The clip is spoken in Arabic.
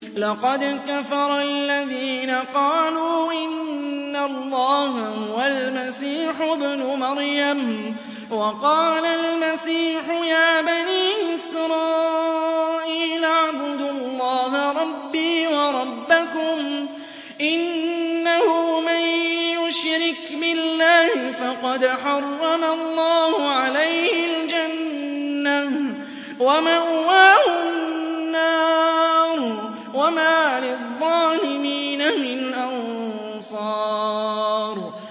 لَقَدْ كَفَرَ الَّذِينَ قَالُوا إِنَّ اللَّهَ هُوَ الْمَسِيحُ ابْنُ مَرْيَمَ ۖ وَقَالَ الْمَسِيحُ يَا بَنِي إِسْرَائِيلَ اعْبُدُوا اللَّهَ رَبِّي وَرَبَّكُمْ ۖ إِنَّهُ مَن يُشْرِكْ بِاللَّهِ فَقَدْ حَرَّمَ اللَّهُ عَلَيْهِ الْجَنَّةَ وَمَأْوَاهُ النَّارُ ۖ وَمَا لِلظَّالِمِينَ مِنْ أَنصَارٍ